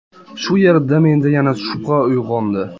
Shu yerda menda yana shubha uyg‘ondi.